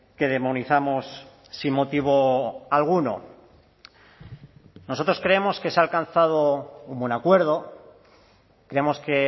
que demonizamos sin motivo alguno nosotros creemos que se ha alcanzado un buen acuerdo creemos que